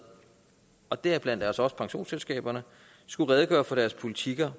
og deriblandt også også pensionsselskaberne skulle redegøre for deres politik om